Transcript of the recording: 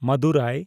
ᱢᱟᱫᱩᱨᱟᱭ